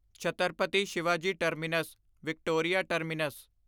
Chhatrapati Shivaji terminus Victoria terminus